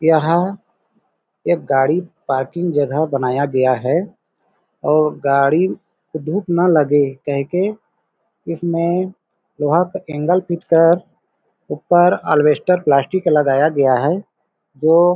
यहाँ एक गाड़ी पार्ककिंग जगह बनाया गया है और गाड़ी को धूप न लगे कह के इसमे लोहे का एंगल फीट का ऊपर एलबेस्टर प्लास्टिक लगाया गया है जो--